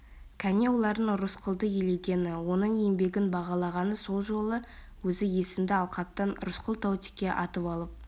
кәне олардың рысқұлды елегені оның еңбегін бағалағаны сол жолы өзі есімді алқаптан рысқұл таутеке атып алып